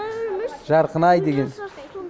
жарқынай деген